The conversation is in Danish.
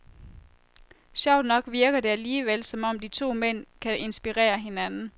Sjovt nok virker det alligevel, som om de to mænd kan inspirere hinanden.